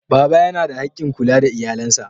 Baba yana da haƙƙin kula da iyalansa.